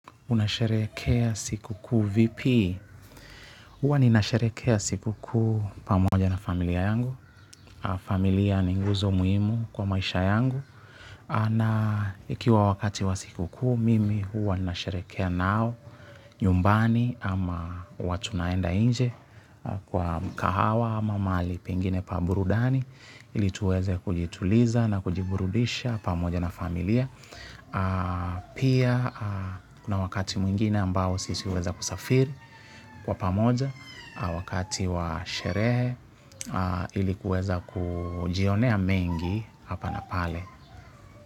Unasherehekea siku kuu vipi? Huwa ninasherehekea siku kuu pamoja na familia yangu. Familia ni nguzo muhimu kwa maisha yangu. Na ikiwa wakati wa siku kuu, mimi huwa ninasherehekea nao nyumbani ama huwa tunaenda nje kwa kahawa ama mali pengine pa burudani. Ilituweze kujituliza na kujiburudisha pamoja na familia. Pia kuna wakati mwingine ambao sisi huweza kusafiri. Kwa pamoja wakati wa sherehe ilikuweza kujionea mengi hapa na pale.